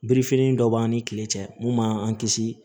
Birifini dɔ b'an ni kile cɛ mun man an kisi